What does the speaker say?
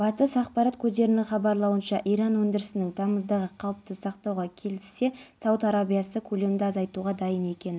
бұл туралы облыстық төтенше жағдайлар департаментінің бастығы нұрболат дербісов мәлімдеді деп хабарлайды қазақпарат полицей көлігіне шығып